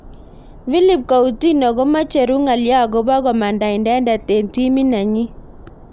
Philippe Coutinho komechuru ngalyo akobo komanda inendet eng timit nenyi.